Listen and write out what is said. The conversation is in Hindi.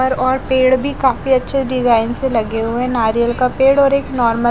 और पेड़ भी काफी अच्छे डिजाइन से लगे हुए नारियल का पेड़ और एक नॉर्मल --